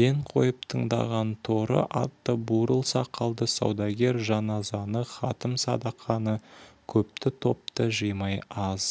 ден қойып тыңдаған торы атты бурыл сақалды саудагер жаназаны хатім садақаны көпті-топты жимай аз